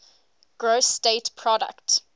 gross state product